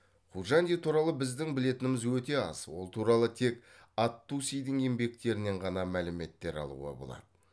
қужанди туралы біздің білетініміз өте аз ол туралы тек ат тусидің еңбектерінен ғана мәліметтер алуға болады